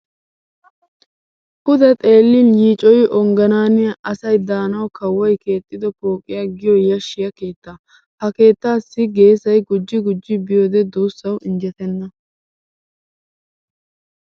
Pude xeellin yiicoyi ongganaaniya asay daanawu kawoy keexxido pooqiya giyo yashshiya keettaa. Ha keettaassi geesay gujji gujji biyode duussawu injjetenna.